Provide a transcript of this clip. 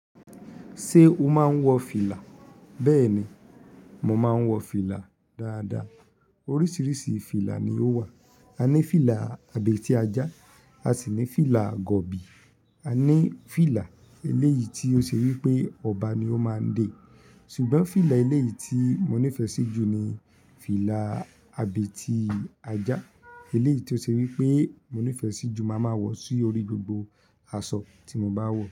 Ṣé o máa ń wọ fìlà? Bẹ́ẹ̀ni, mo máa ń wọ fìlà dáadáa. Oríṣiríṣi fìlà ni ó wà. A ní fìlà abètí ajá, a sì ní fìlà gọ̀bi, a ní fìlà eléyìí tí ó ṣe wí pé ọba ni ó máa ń dé. Ṣùgbọ́n fìlà eléyìí tí mo nífẹ̀ẹ́ síjú ni fìlà abetí ajá. Eléyìí tí ó ṣe wí pé mo nífẹ̀ẹ́ sí jù, màá máa wọ̀ sí orí gbogbo aṣọ tí mo bá wọ̀